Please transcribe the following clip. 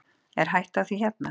Er hætta á því hérna?